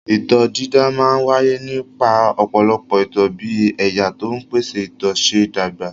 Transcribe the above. Itọ́ dídà máa ń wáyé nípa ọ̀pọ̀lọpọ̀ itọ́ bí ẹ̀yà tó ń pèsè itọ́ ṣe ń dàgbà.